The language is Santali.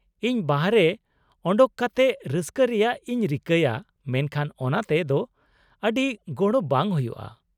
-ᱤᱧ ᱵᱟᱦᱨᱮ ᱚᱰᱳᱝ ᱠᱟᱛᱮ ᱨᱟᱹᱥᱠᱟᱹ ᱨᱮᱭᱟᱜ ᱤᱧ ᱨᱤᱠᱟᱹᱭᱟ ᱢᱮᱱᱠᱷᱟᱱ ᱚᱱᱟᱛᱮ ᱫᱚ ᱟᱹᱰᱤ ᱜᱚᱲᱚ ᱵᱟᱝ ᱦᱩᱭᱩᱜᱼᱟ ᱾